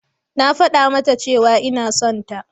Na faɗa mata cewa ina son ta.